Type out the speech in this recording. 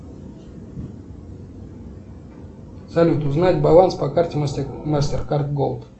салют узнать баланс по карте мастеркард голд